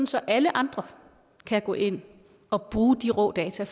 så alle andre kan gå ind og bruge de rå data